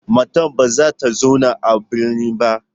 Matar ba za ta zauna a birnin ba.